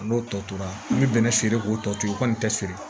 N'o tɔ tora n bɛ bɛnɛ siri k'o tɔ to u kɔni tɛ siri